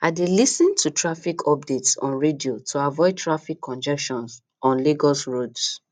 i dey lis ten to traffic updates on radio to avoid traffic congestion on lagos roads